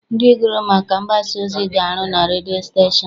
Ndị gụrụ maka mgbasaozi ga-arụ na redio stashon.